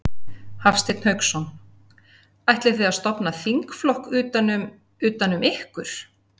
Hafsteinn Hauksson: Ætlið þið að stofna þingflokk utan um, utan um ykkur?